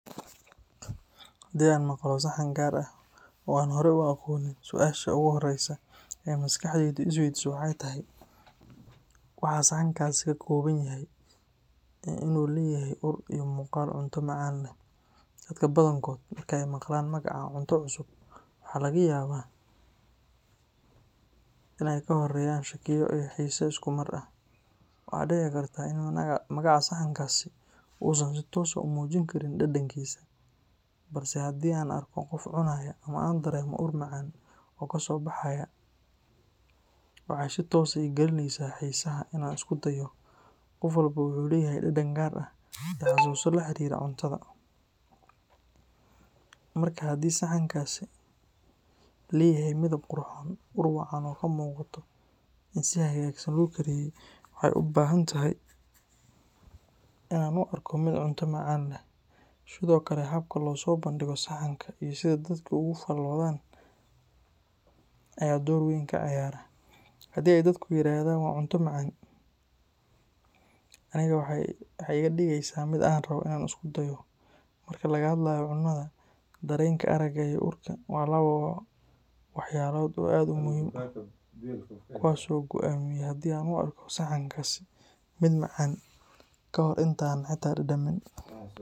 Haddii aan maqlo saxan gaar ah oo aanan hore u aqoonin, su’aasha ugu horreysa ee maskaxdaydu is weydiiso waxay tahay waxa saxankaasi ka kooban yahay iyo in uu leeyahay ur iyo muuqaal cunto macaan leh. Dadka badankood marka ay maqlaan magaca cunto cusub, waxa laga yaabaa in ay ka horreeyaan shakiyo iyo xiise isku mar ah. Waxaa dhici karta in magaca saxankaasi uusan si toos ah u muujin karin dhadhankiisa, balse haddii aan arko qof cunaya ama aan dareemo ur macaan oo kasoo baxaya, waxa ay si toos ah ii gelinaysaa xiisaha in aan isku dayo. Qof walba wuxuu leeyahay dhadhan gaar ah iyo xusuuso la xiriira cuntada, markaa haddii saxankaasi leeyahay midab qurxoon, ur wacan oo ka muuqato in si hagaagsan loo kariyey, waxa ay u badan tahay in aan u arko mid cunto macaan leh. Sidoo kale, habka loo soo bandhigo saxanka iyo sida dadku uga faalloodaan ayaa door weyn ka ciyaara. Haddii ay dadku yiraahdaan waa cunto macaan, anigana waxa ay iga dhigeysaa mid aan rabo in aan isku dayo. Marka laga hadlayo cunnada, dareenka aragga iyo urka waa laba waxyaalood oo aad muhiim u ah, kuwaas oo go’aamiya haddii aan u arko saxankaasi mid macaan ka hor inta aanan xitaa dhadhamin.